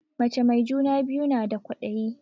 Mace mai juna biyu na da kwadayi